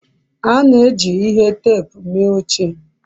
a na-eji ihe teepu mee oche